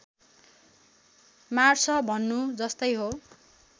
मार्छ भन्नु जस्तै हो